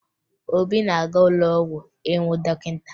Obi na-aga ụlọ ọgwụ ịhụ dọkịta